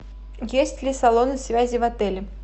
есть ли салоны связи в отеле